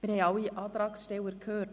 Wir haben alle Antragsteller gehört.